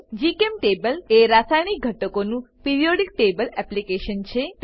જીચેમ્ટેબલ એ રાસાયણિક ઘટકોનું પીરિયોડિક ટેબલ એપ્લીકેશન છે